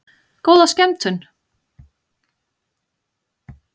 Góða skemmtun!